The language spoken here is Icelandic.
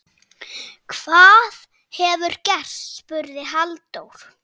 Hvað hefur gerst? spurði Halldór.